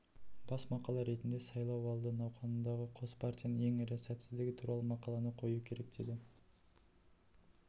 бас мақала ретінде сайлау алды науқанындағы қос партияның ең ірі сәтсіздігі туралы мақаланы қою керек деді